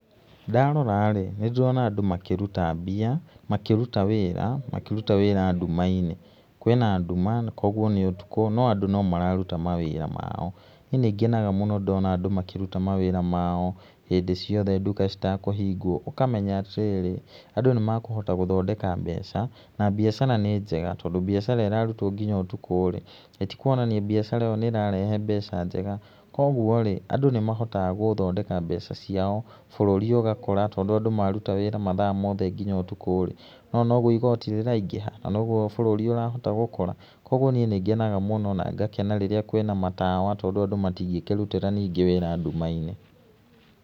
Ndarora rĩ, nĩn dĩrona andũ makĩruta mbia, makĩruta wĩra, makĩruta wĩra nduma-inĩ. Kwĩna nduma kwa ũguo nĩ ũtukũ no andũ no mararuta mawíĩa mao. Niĩ nĩ ngenaga mũno ndona andũ makĩruta mawĩra mao hĩndĩ ciothe nduka citakũhingwo ũkamenya atĩrĩrĩ, andũ nĩ makũhota gũthondeka mbeca na mbiacara nĩ njega tondũ mbiacara ĩrarutwo nginya ũtukũ rĩ, ithe ĩtikũonania mbiacara ĩyo nĩ ĩrarehe mbeca njega? Koguo rĩ, andũ nĩ mahotaga gũthondeka mbeca ciao bũrũri ũgakũra tondũ andũ maruta wĩra mathaa mothe nginya ũtukũ rĩ, nĩ wona nogũo igooti rĩraingĩha na no ũguo bũrũri ũrahota gũkũra koguo niĩ nĩ ngenaga mũno na ngakena rĩrĩa kwĩna matawa tondũ andũ matingĩkĩrutĩra wĩra nduma-inĩ.